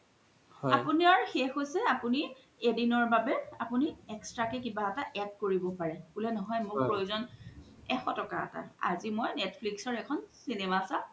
আপুনাৰ শেষ হৈছে আপুনি এদিনৰ বাবে extra কে কিবা এটা add কৰিব পাৰে বুলে নহয় মুৰ প্ৰয়োজ্ন এশ টকা এটা আজি মই netflix ৰ এখন cinema চাম